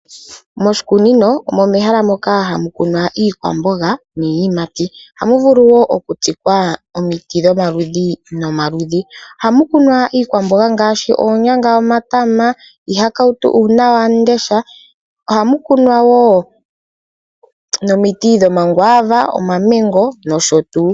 Moshikunino omo meha moka hamu kunwa iikwamboga niiyimati. Ohamu vulu woo oku tsikwa omiti dhomaludhi nomaludhi. Ohamu kunwa iikwamboga ngaashi oonyanga, omatama, iihakautu ,uunawamundesha . Ohamu kunwa woo nomiti dho mi Guava